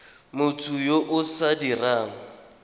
motho yo o sa dirang